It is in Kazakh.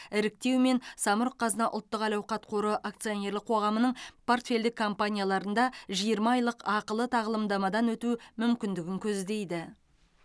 іріктеумен самұрық қазына ұлттық әл ауқат қоры акционерлік қоғамының портфельдік компанияларында жиырма айлық ақылы тағылымдамадан өту мүмкіндігін көздейді